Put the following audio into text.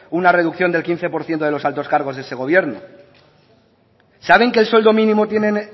una reducción del quince por ciento de los altos cargos de este gobierno saben qué sueldo mínimo tienen